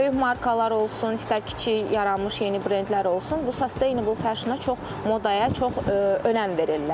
Böyük markalar olsun, istər kiçik yaranmış yeni brendlər olsun, bu sustainable fashiona çox modaya çox önəm verirlər.